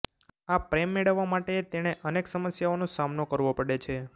આ પ્રેમ મેળવવા માટે તેણે અનેક સમસ્યાઓનો સામનો કરવો પડે છે